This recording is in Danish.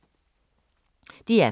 DR K